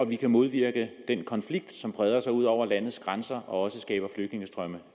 vi kan modvirke den konflikt som breder sig ud over landets grænser og også skaber flygtningestrømme